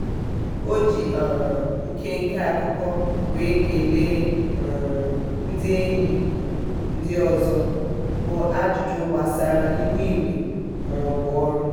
o ji um nke nke akụkọ wee kelee um ndị enyi ndị ọzọ bụ ajụjụ gbasara ihu igwe maọbụ ọrụ.